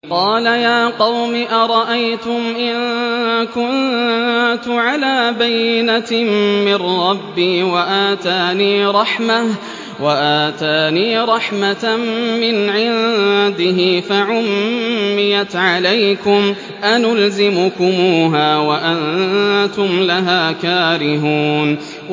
قَالَ يَا قَوْمِ أَرَأَيْتُمْ إِن كُنتُ عَلَىٰ بَيِّنَةٍ مِّن رَّبِّي وَآتَانِي رَحْمَةً مِّنْ عِندِهِ فَعُمِّيَتْ عَلَيْكُمْ أَنُلْزِمُكُمُوهَا وَأَنتُمْ لَهَا كَارِهُونَ